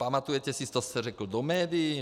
Pamatujete si, co jste řekl do médií?